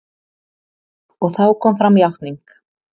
Og þá kom fram játning.